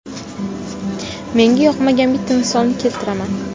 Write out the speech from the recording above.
Menga yoqmagan bitta misolni keltiraman.